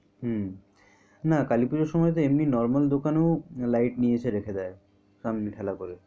হুম। না কালি পুজোর সময় তো এমনি normal দোকান ও light নিয়ে এসে রেখে দেয় সামনে ঠেলা করে।